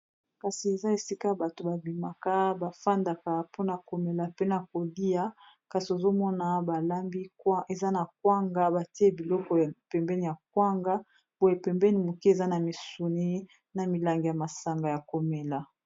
Kasi eza esika bato ba bimaka bafandaka mpona komela pe na kolia kasi ozomona balambi eza na kwanga batie biloko pembeni ya kwanga boye pembeni moke eza na misuni na milangi ya masanga ya komela.